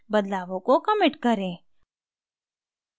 बदलावों को commit करें